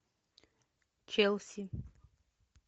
челси